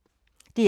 DR K